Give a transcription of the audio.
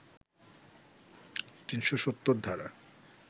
৩৭০ ধারা